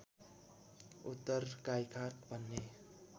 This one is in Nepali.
उत्तर गाईघाट भन्ने